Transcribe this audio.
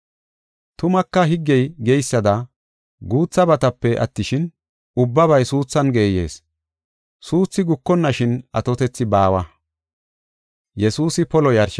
Tumaka higgey geysada guuthabatape attishin, ubbabay suuthan geeyees. Suuthi gukonnashin atotethi baawa.